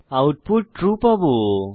output true পাবো